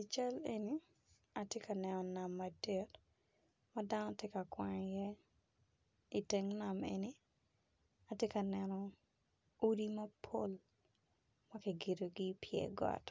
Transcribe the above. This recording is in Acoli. I cal eni ati ka neno nam madit ma dano ti ka kwang iye iteng nam eni-ni ati ka neno odi mapol ma ki gedogi i byer got,